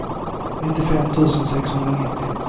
nittiofem tusen sexhundranittio